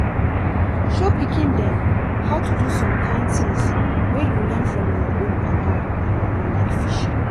show pikin dem how to do some kind things wey you learn from your own papa and mama like fishing